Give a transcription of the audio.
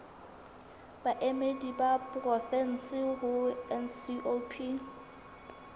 baemedi ba porofensi ho ncop